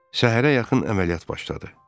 Səhərə yaxın əməliyyat başladı.